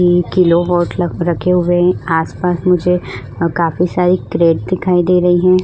Kilo watt रखे हुए हैं आसपास मुझे काफी सारी क्रेट दिखाई दे रही हैं।